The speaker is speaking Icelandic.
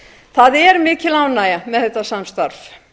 það er mikil ánægja með þetta samstarf